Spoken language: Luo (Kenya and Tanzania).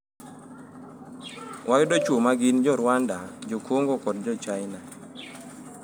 Wayudo chwo ma gin jo Rwanda, jo Kongo kod jo China''.